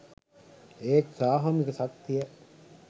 ඒත් සාමූහික ශක්තිය